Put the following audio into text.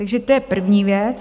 Takže to je první věc.